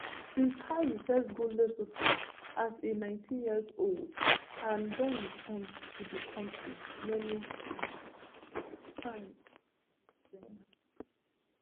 prince harry first go lesotho as a nineteenyearold and don return to the country many um times since den